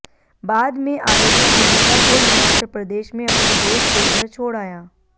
बाद में आरोपी पीड़िता को हिमाचल प्रदेश में अपने दोस्त के घर छोड़ आया